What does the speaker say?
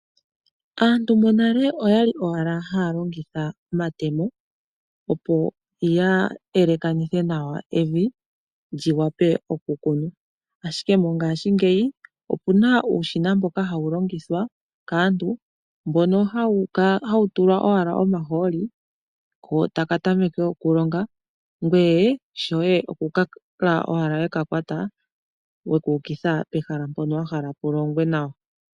Aantu monale oya li owala haya longitha omatemo, opo ya elekanithe nawa evi lyi wape okukunwa. Ashike mongaashingeyi oku na uushina mboka hawu longithwa kaantu, mbono hawu tulwa owala omahooli, kontaka tameke okuloga, ngweye shoye oku kala owala we ka kwata weka ukitha pehala mpono wa hala pu longwe nawa.